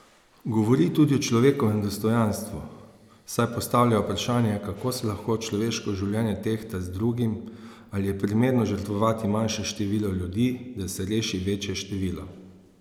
Govori tudi o človekovem dostojanstvu, saj postavlja vprašanje, kako se lahko človeško življenje tehta z drugim, ali je primerno žrtvovati manjše število ljudi, da se reši večje število.